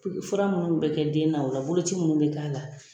fura minnu bɛ kɛ den na o la bolo ci minnu bɛ k'a la.